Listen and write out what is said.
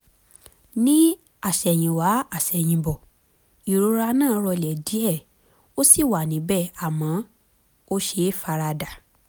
ní àsẹ̀yìnwá àsẹ̀yìnbọ̀ ìrora náà rọlẹ̀ díẹ̀ ó ṣì wà níbẹ̀ àmọ́ ó ṣeé fara dà